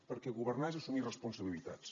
perquè governar és assumir responsabilitats